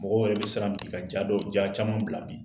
Mɔgɔw yɛrɛ bɛ siran bi ka ja dɔw ja caman bila bi